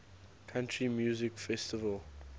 country music festival